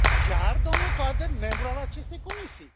Chiar domnul Toader, membru al acestei comisii.